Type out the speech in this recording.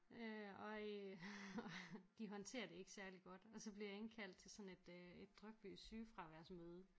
Øh og øh de håndterer det ikke særlig godt og så bliver jeg indkaldt til sådan et et drypvis sygefraværsmøde